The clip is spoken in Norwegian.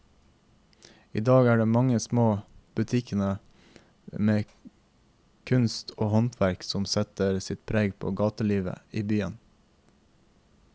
I dag er det de mange små butikkene med kunst og håndverk som setter sitt preg på gatelivet i byen.